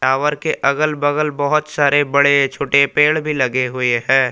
Tower के अगल बगल बहुत सारे बड़े छोटे पेड़ भी लगे हुए हैं।